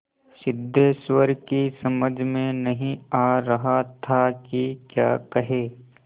सिद्धेश्वर की समझ में नहीं आ रहा था कि क्या कहे